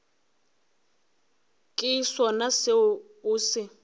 ke sona seo o se